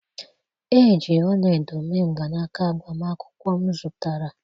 Eji ọla edo mee mgbanaka agbamakwụkwọ m zụtara